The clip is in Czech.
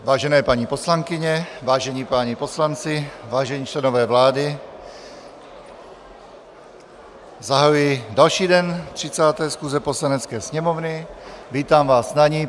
Vážené paní poslankyně, vážení páni poslanci, vážení členové vlády, zahajuji další den 30. schůze Poslanecké sněmovny, vítám vás na ni.